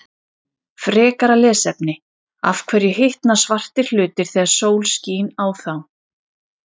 Frekara lesefni: Af hverju hitna svartir hlutir þegar sól skín á þá?